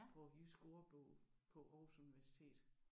På jysk ordbog på Aarhus Universitet